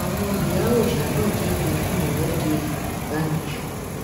àwọn ìyá òòsa náà jáde fún ìwọde yorùbá nation